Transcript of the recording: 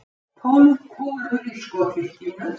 Tólf kúlur í skothylkinu.